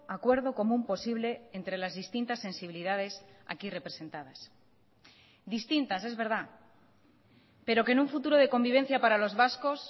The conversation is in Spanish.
acuerdo común posible entre las distintas sensibilidades aquí representadas distintas es verdad pero que en un futuro de convivencia para los vascos